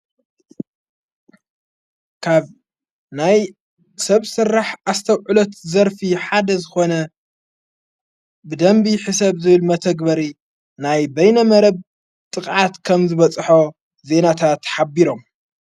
ካብ ናይ ሰብ ሥራሕ ኣስተውዕሎት ዘርፊ ሓደ ዝኾነ ብደንቢ ሕሰብ ዝብል መተግበሪ ናይ በይነ መረብ ጥቕዓት ከም ዝበጽሖ ዘይናታተ ሓቢሮም፡፡